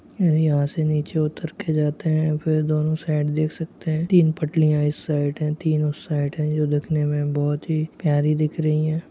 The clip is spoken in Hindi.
यहाँ से नीचे उतर के जाते हैं फिर दोनों साइड देख सकते है तीन पटलिया इस साईड है तीन उस साईड है जो दिखने में बहुत ही प्यारी दिख रही हैं।